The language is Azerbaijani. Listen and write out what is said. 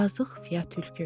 Yazıq Fiya tülkü.